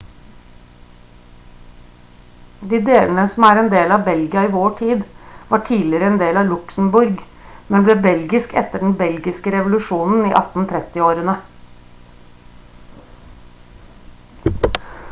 de delene som er en del av belgia i vår tid var tidligere en del av luxembourg men ble belgisk etter den belgiske revolusjonen i 1830-årene